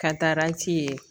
Katarati ye